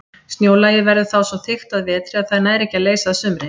Snjólagið verður þá svo þykkt að vetri að það nær ekki að leysa að sumri.